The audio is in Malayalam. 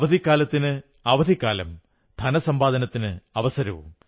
അവധിക്കാലത്തിന് അവധിക്കാലം ധനസമ്പാദനത്തിന് അവസരവും